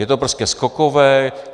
Je to prostě skokové.